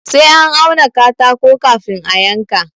Sai an auna katako kafin a yanka.